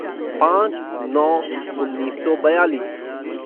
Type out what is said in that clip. पाँच नौ उन्नीस सौ बयालीस